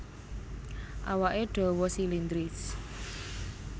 Awaké dawa silindris